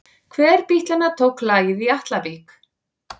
Hver bítlanna tók lagið í Atlavík?